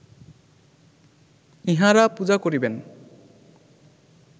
ইঁহারা পূজা করিবেন